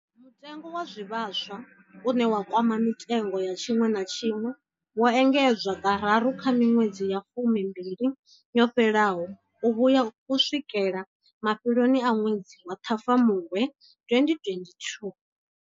Mutengo wa zwivhaswa, une wa kwama mitengo ya tshiṅwe na tshiṅwe, wo engedzwa kararu kha miṅwedzi ya fumimbili yo fhelaho u vhuya u swikela mafheloni a ṅwedzi wa Ṱhafamuhwe 2022.